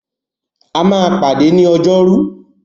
A máa pàdé ni Ọjọ́rú.